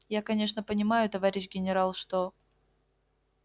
я конечно понимаю товарищ генерал что